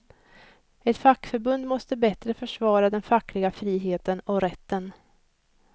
Ett fackförbund måste bättre försvara den fackliga friheten och rätten.